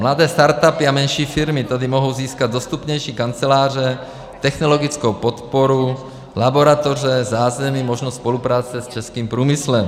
Mladé startupy a menší firmy tady mohou získat dostupnější kanceláře, technologickou podporu, laboratoře, zázemí, možnost spolupráce s českým průmyslem.